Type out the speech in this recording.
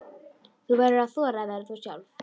Þú verður að þora að vera þú sjálf.